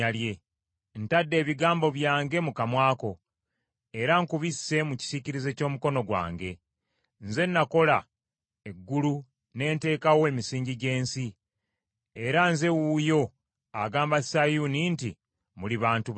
Ntadde ebigambo byange mu kamwa ko, era nkubisse mu kisiikirize ky’omukono gwange. Nze nakola eggulu ne nteekawo emisingi gy’ensi; era nze wuuyo agamba Sayuuni nti, ‘Muli bantu bange!’ ”